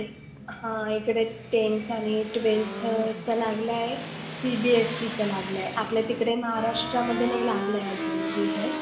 हा इकडे tenth आणि twelfth चा लागलाय. CBSE चा लागलाय. आपल्या तिकडे महाराष्ट्रामध्ये नाही लागलाय आजुन result